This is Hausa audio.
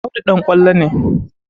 Audu ɗan ƙwallo ne